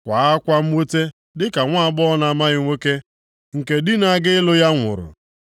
Kwaa akwa mwute dịka nwaagbọghọ na-amaghị nwoke, nke di na-aga ịlụ ya nwụrụ.